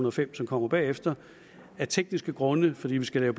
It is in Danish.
og fem som kommer bagefter af tekniske grunde fordi vi skal lave